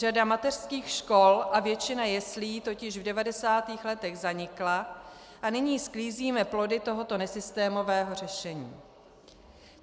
Řada mateřských škol a většina jeslí totiž v 90. letech zanikla a nyní sklízíme plody tohoto nesystémového řešení.